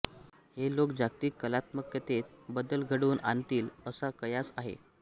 हे लोक जागतिक कलात्मकतेत बदल घडवून आणतील असा कयास आहे